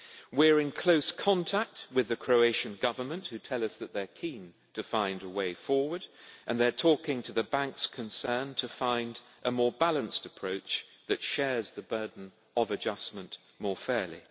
We are in close contact with the Croatian Government, who tell us that they are keen to find a way forward and they are talking to the banks concerned to find a more balanced approach that shares the burden of adjustment more fairly.